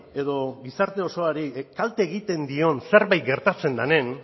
edo gizarte osoari kalte egiten dion zerbait gertatzen denean